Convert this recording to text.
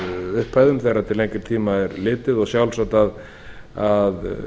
upphæðum þegar til lengri tíma er litið og sjálfsagt að